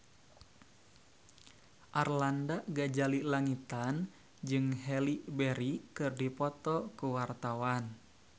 Arlanda Ghazali Langitan jeung Halle Berry keur dipoto ku wartawan